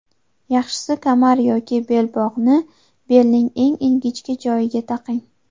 Yaxshisi kamar yoki belbog‘ni belning eng ingichka joyiga taqing.